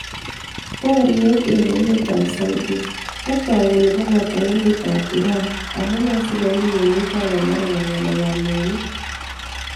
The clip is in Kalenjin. Booryeet eng' emet ap saudi: 'Katook kole kobbooto emet ap Iran' Amunee sigouny' emet ap america ng'aleek ap mwaanik?